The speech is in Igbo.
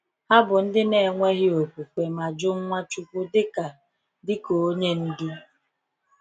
Ha bụ ndị na-enweghị okwukwe ma jụ Nwachukwu dịka dịka onye ndu.